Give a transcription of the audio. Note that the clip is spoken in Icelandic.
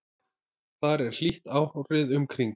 þar er hlýtt árið um kring